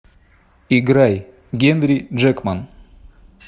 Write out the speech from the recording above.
играй генри джекман